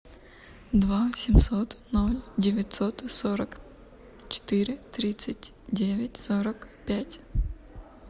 два семьсот ноль девятьсот сорок четыре тридцать девять сорок пять